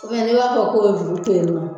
n'i b'a fɛ u k'o bɛ juru to yen nɔ